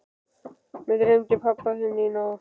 Mig dreymdi pabba þinn í nótt.